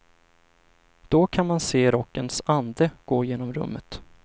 Då kan man se rockens ande gå genom rummet.